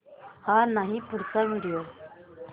हा नाही पुढचा व्हिडिओ